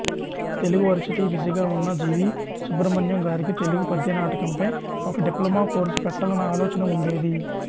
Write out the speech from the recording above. Telugu varsity విసిగా ఉన్న G V Subrahmanyam గారికి తెలుగు పద్యనాటకంపై ఒక డిప్లొమా కోర్సు పెట్టాలన్న ఆలోచన ఉండేది